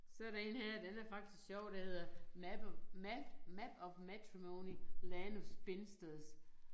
Så der én her den er faktisk sjov der hedder map of map map of matrimony land of spinsters